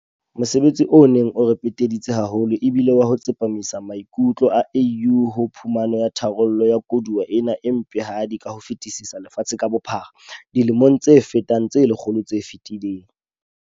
Mosebetsi o neng o re peteditse haholo e bile wa ho tsepamisa maikutlo a AU ho phumano ya tharollo ya koduwa ena e mpehadi ka ho fetisisa lefatshe ka bophara dilemong tse fetang tse lekgolo tse fetileng.